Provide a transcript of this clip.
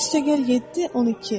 5 + 7 = 12.